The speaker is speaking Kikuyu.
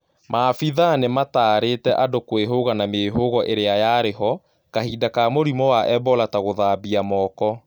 Maabithaa nĩmatarĩtĩ andũ kwĩhuga na mĩhugo ĩrĩa yarĩho kahinda ka mũrimũ wa ebola ta guithamba moko